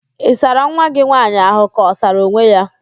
Ị sara nwa gị nwaanyị ahụ ka ọ sara onwe ya?